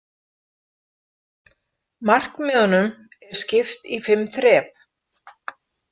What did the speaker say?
Markmiðunum er skipt í fimm þrep.